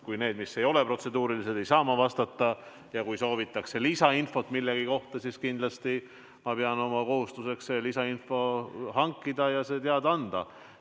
Kui ma nendele, mis ei ole protseduurilised, ei saa vastata ja kui soovitakse lisainfot millegi kohta, siis kindlasti ma pean oma kohustuseks lisainfo hankida ja see teada anda.